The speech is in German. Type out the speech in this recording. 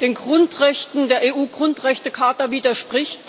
den Grundrechten der EU Grundrechtecharta widerspricht?